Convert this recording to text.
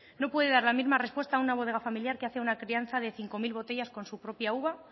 no puede dar la misma respuesta a una bodega familiar que hace una crianza de cinco mil botellas con su propia uva